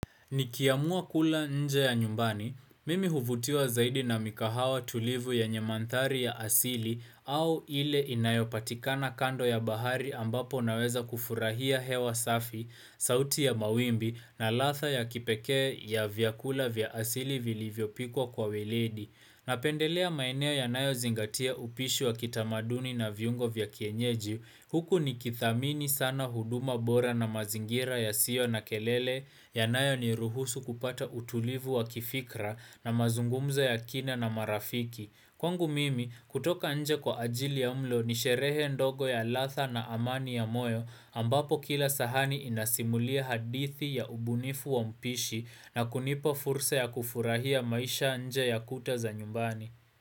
Nikiamua kula nje ya nyumbani, mimi huvutiwa zaidi na mikahawa tulivu yenye mandhari ya asili au ile inayopatikana kando ya bahari ambapo naweza kufurahia hewa safi, sauti ya mawimbi na latha ya kipekee ya vyakula vya asili vili vyopikwa kwa weledi. Na pendelea maeneo yanayo zingatia upishi wa kitamaduni na viungo vya kienyeji, huku ni kithamini sana huduma bora na mazingira ya sio na kelele, yanayo ni ruhusu kupata utulivu wa kifikra na mazungumzo ya kina na marafiki. Kwangu mimi, kutoka nje kwa ajili ya mlo ni sherehe ndogo ya latha na amani ya moyo ambapo kila sahani inasimulia hadithi ya ubunifu wa mpishi na kunipa fursa ya kufurahia maisha nje ya kuta za nyumbani.